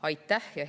Aitäh!